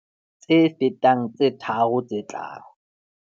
tse fetang tse tharo tse tlang.